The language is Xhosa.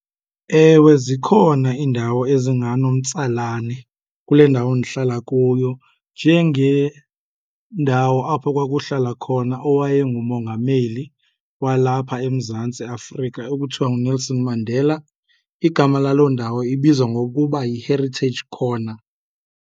Ewe, zikhona iindawo ezinganomtsalane kule ndawo ndihlala kuyo njengendawo apho kwakuhlala khona owayengumongameli walapha eMzantsi Afrika ekuthiwa nguNelson Mandela. Igama laloo ndawo ibizwa ngokuba yiHeritage Corner.